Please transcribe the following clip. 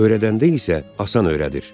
Örədəndə isə asan öyrədir.